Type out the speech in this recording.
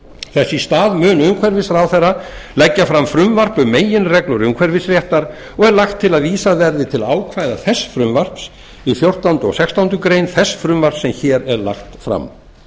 í stað mun umhverfisráðherra leggja fram frumvarp um meginreglur umhverfisréttar og er lagt til að vísað verði til ákvæða þess frumvarps í fjórtándu greinar og í fimmtándu greinar þess frumvarps sem hér er lagt fram